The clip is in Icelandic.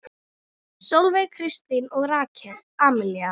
Sólveig Kristín og Rakel Amelía.